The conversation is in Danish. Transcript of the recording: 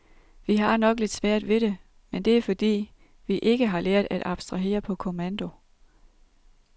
Vi har nok lidt svært ved det, men det er fordi, vi ikke har lært at abstrahere på kommando.